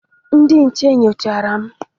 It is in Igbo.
Ndị nche nyochara m.